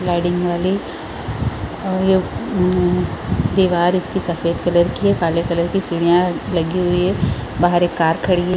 Sliding वाली और ये दीवार इसकी सफ़ेद कलर की है काले कलर की सीढ़ियाँ है लगी हुई है बाहर एक कार खड़ी हैं ।